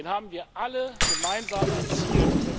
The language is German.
Den haben wir alle gemeinsam erzielt.